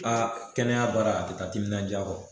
Aa kɛnɛya baara a te taa timinan diya kɔ.